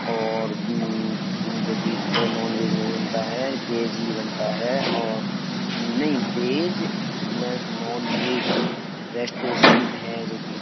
और उम्म उम्म जो कि इस पे नॉनवेज नहीं बनता है और वेज ही बनता है और नहीं वेज प्लस नॉनवेज रेस्टोरेंट है जो कि --